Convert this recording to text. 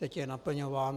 Teď je naplňován.